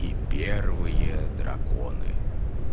и первые драконы